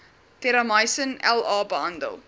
terramycin la behandel